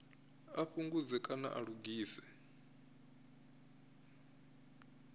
a fhungudze kana a lugise